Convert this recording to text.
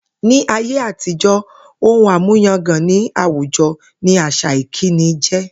Ní ayé àtijó̩, ohun àmúyangàn ní àwùjo̩ ni àsà ìkíni jé̩